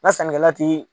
Na sannikɛla ti